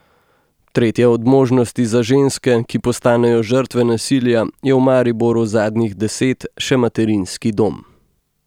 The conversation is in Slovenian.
Tretja od možnosti za ženske, ki postanejo žrtve nasilja, je v Mariboru zadnjih deset še materinski dom.